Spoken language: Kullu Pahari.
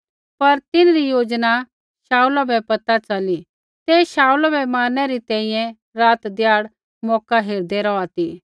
पर तिन्हरी योजना शाऊला बै पैता च़ली ते शाऊला बै मारनै री तैंईंयैं रात ध्याड़ मौका हेरदै रौहा ती